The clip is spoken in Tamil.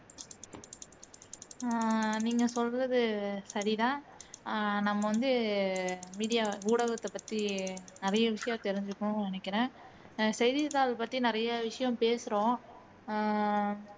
உம் நீங்க சொல்றது சரிதான் அஹ் நம்ம வந்து வீடி ஊடகத்தைப்பத்தி நிறைய விஷயம் தெரிஞ்சிக்கணும்னு நினைக்கிறேன் செய்தித்தாள் பற்றி நிறைய விஷயம் பேசுறோம் உம்